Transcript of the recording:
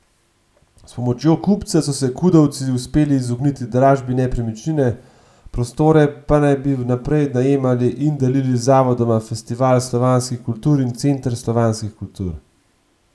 S pomočjo kupca so se kudovci uspeli izogniti dražbi nepremičnine, prostore pa naj bi vnaprej najemali in delili z zavodoma Festival slovanskih kultur in Center slovanskih kultur.